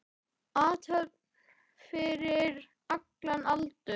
Athöfn fyrir allan aldur.